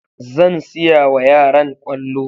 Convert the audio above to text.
Zan siyawa yaran kwallo